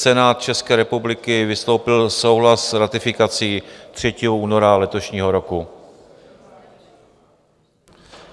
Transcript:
Senát České republiky vyslovil souhlas s ratifikací 3. února letošního roku.